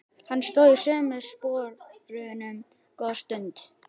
Hann stóð í sömu sporunum góða stund.